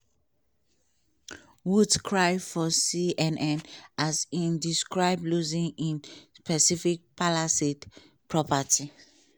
woods cry for cnn as im describe losing in pacific palisades property.